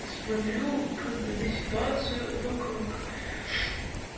смотрю как бы на ситуацию вокруг